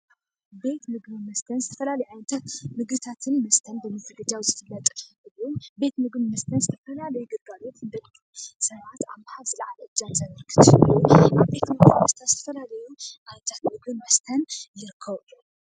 ቤት ምግቢ ዝተፈላለዩ ምግብታትን መስተታትን ዝፍለጥን እዩ። ዝዛገጀወሉ ቤት ምግብን መስተን ዝተፈላለዩ ዕጨይቲ ዝስርሑ ምግብን መስተን ይርከቡ።